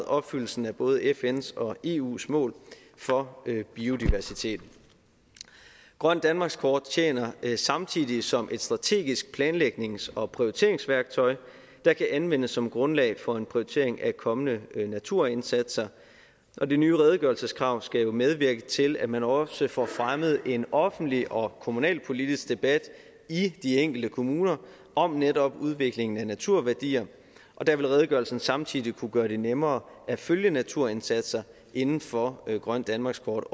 opfyldelsen af både fns og eus mål for biodiversitet grønt danmarkskort tjener samtidig som et strategisk planlægnings og prioriteringsværktøj der kan anvendes som grundlag for en prioritering af kommende naturindsatser og de nye redegørelseskrav skal jo medvirke til at man også får fremmet en offentlig og kommunalpolitisk debat i de enkelte kommuner om netop udviklingen af naturværdier der vil redegørelsen også samtidig kunne gøre det nemmere at følge naturindsatser inden for grønt danmarkskort